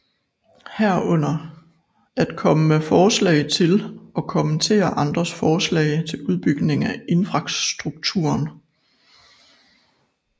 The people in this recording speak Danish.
Herunder at komme med forslag til og kommentere andres forslag til udbygning af infrastrukturen